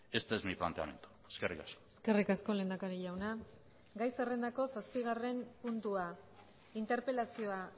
este es mi planteamiento eskerrik asko eskerrik asko lehendakari jauna gai zerrendako zazpigarren puntua interpelazioa